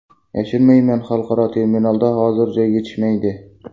Yashirmayman, xalqaro terminalda hozir joy yetishmaydi.